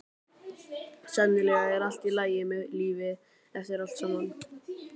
Sennilega er allt í lagi með lífið eftir allt saman.